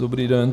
Dobrý den.